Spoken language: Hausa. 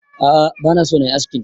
A'a bana so nayi askin